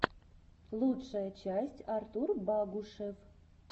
лучшая часть артур багушев